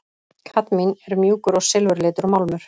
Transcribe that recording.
Kadmín er mjúkur og silfurlitur málmur.